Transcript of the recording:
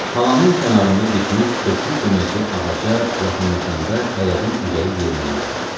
Talanın kənarında bitmiş köklü köməkçilik ağaca yaxınlaşanda ərəbin ürəyi yerinə gəldi.